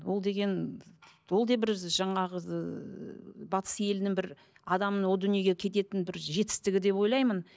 ол деген ол да бір жаңағы ыыы батыс елінің бір адамның о дүниеге кететін бір жетістігі деп ойлаймын